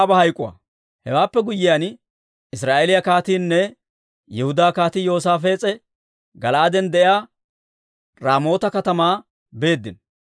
Hewaappe guyyiyaan, Israa'eeliyaa kaatiinne Yihudaa Kaatii Yoosaafees'e Gala'aaden de'iyaa Raamoota katamaa beeddino.